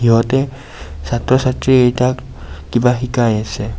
সিহঁতে ছাত্ৰ ছাত্ৰী কেইটাক কিবা শিকাই আছে.